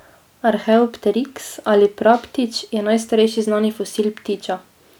Arheopteriks ali praptič je najstarejši znani fosil ptiča.